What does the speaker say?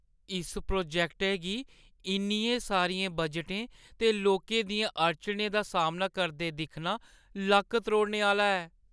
इस प्रोजैक्टै गी इन्नियें सारियें बजटें ते लोकें दियें अड़चनें दा सामना करदे दिक्खना लक्क-त्रोड़ने आह्‌ला ऐ।